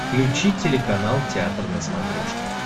включи телеканал театр на смотрешке